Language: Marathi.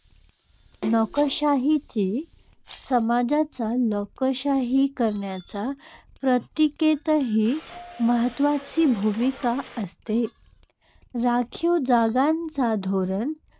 नोकरशाहीची समाजाच्या लोकशाहीकरणाच्या प्रक्रियेतही महत्त्वाची भूमिका असते. राखीव जागांचे धोरण